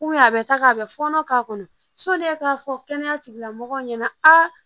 a bɛ ta ka a bɛ fɔɔnɔ k'a kɔnɔ e k'a fɔ kɛnɛya tigilamɔgɔw ɲɛna a